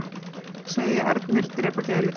Segja erni drepa gæludýr